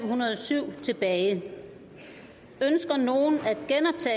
hundrede og syv tilbage ønsker nogen